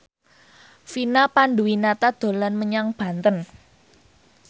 Vina Panduwinata dolan menyang Banten